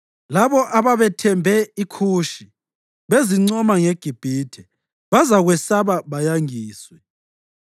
Labo ababethembe iKhushi bezincoma ngeGibhithe, bazakwesaba bayangiswe.